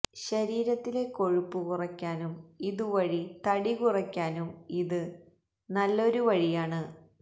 ശരീരത്തിലെ കൊഴുപ്പു കുറയ്ക്കാനും ഇതുവഴി തടി കുറയ്ക്കാനും ഇത് നല്ലൊരു വഴിയാണ്